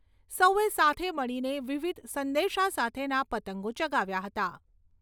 સૌએ સાથે મળીને વિવિધ સંદેશા સાથેના પતંગો ચગાવ્યા હતા.